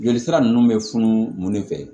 Joli sira nunnu be funu mun de fɛ